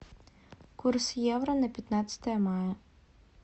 курс евро на пятнадцатое мая